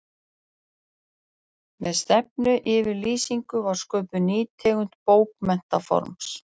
Með stefnuyfirlýsingum var sköpuð ný tegund bókmenntaforms.